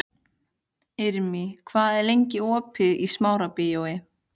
Irmý, hvað er lengi opið í Smárabíói?